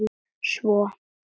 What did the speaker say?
Svo?